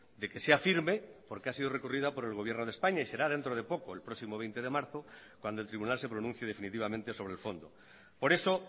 de que sea firme porque ha sido recurrida por el gobierno de españa y será dentro de poco el próximo veinte de marzo cuando el tribunal se pronuncie definitivamente sobre el fondo por eso